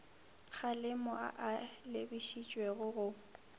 kgalemo a a lebišitšweng go